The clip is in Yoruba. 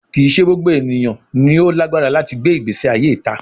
Kii ṣe gbogbo eniyan ni o lagbara lati gbe igbesi aye ita